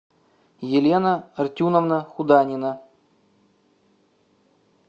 елена артюновна худанина